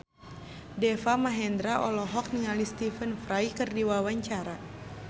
Deva Mahendra olohok ningali Stephen Fry keur diwawancara